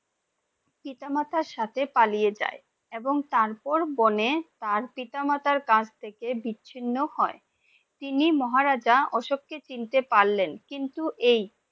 পিতা মাতা সাথে পালিয়ে যায়, এবং তারপর বনে তার পিতা মাতার কাছ থেকে বিছিন্ন হয়ে, তিনি মহারাজ অশোক কে চিনতে পারলেন কিন্তু এই!